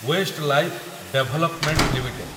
Westlife development limited